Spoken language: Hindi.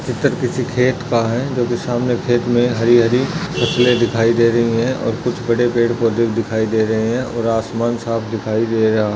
चित्र किसी खेत का है जो की सामने खेत में हरी हरी फ़सले दिखाई दे रही है और कुछ बड़े पेड़पौधे दिखाई दे रहे है और आसमान साफ दिखाई दे रहा --